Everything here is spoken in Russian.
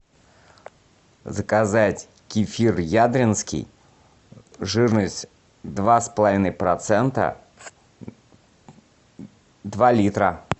заказать кефир ядринский жирность два с половиной процента два литра